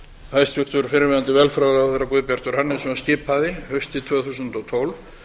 hæstvirtur fyrrverandi velferðarráðherra guðbjartur hannesson skipaði haustið tvö þúsund og tólf